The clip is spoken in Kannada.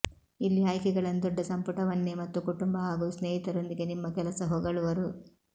ಇಲ್ಲಿ ಆಯ್ಕೆಗಳನ್ನು ದೊಡ್ಡ ಸಂಪುಟವನ್ನೇ ಮತ್ತು ಕುಟುಂಬ ಹಾಗೂ ಸ್ನೇಹಿತರೊಂದಿಗೆ ನಿಮ್ಮ ಕೆಲಸ ಹೊಗಳುವರು